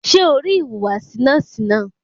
Ṣẹ́ o rí ìhùwàsí nọ́ọ̀sì náà?